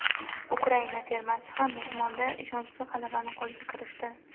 Ukraina termasi ham mehmonda ishonchli g‘alabani qo‘lga kiritdi.